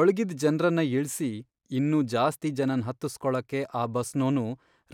ಒಳ್ಗಿದ್ ಜನ್ರನ್ನ ಇಳ್ಸಿ, ಇನ್ನೂ ಜಾಸ್ತಿ ಜನನ್ ಹತ್ತುಸ್ಕೊಳಕ್ಕೆ ಆ ಬಸ್ನೋನು